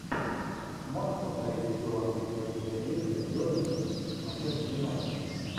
можешь повторить игру английской премьер лиги бернли с манчестер юнайтед